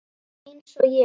Eins og ég?